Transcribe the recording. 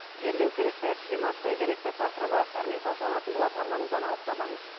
жерлеу керек пе кремация керек пе тақырыбы әрмен талқыланатын болады арнамыздан алыстамаңыз